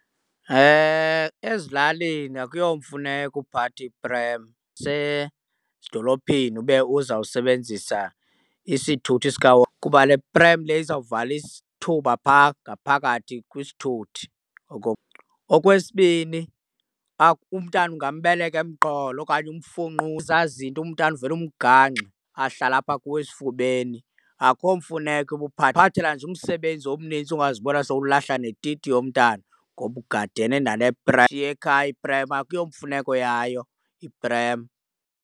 Ezilalini akuyomfuneko uphatha iprem usedolophini ube uzawusebenzisa isithuthi kuba le prem le izawuvala isithuba phaa ngaphakathi kwisithuthi . Okwesibini umntana ungambeka emqolo okanye zinto, umntana uvele umgangxe ahlale apha kuwe esifubeni. Akho mfuneko uba uphathela nje umsebenzi omnintsi ungazibona sowulahla netiti yomntana ngoba ugadene nale . Yishiye ekhaya iprem akuyo mfuneko yayo iprem.